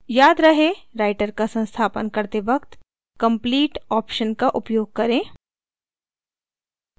याद रहे writer का संस्थापन करते वक्त complete option का उपयोग करें